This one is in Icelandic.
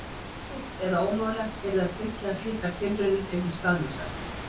Erfitt eða ómögulegt yrði að tryggja að slíkar tilraunir yrðu skaðlausar.